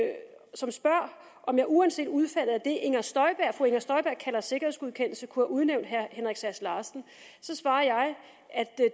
som spørger om jeg uanset udfaldet af det fru inger støjberg kalder sikkerhedsgodkendelse kunne have udnævnt herre henrik sass larsen så svarer jeg at